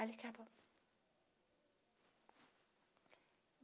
Alí acabou.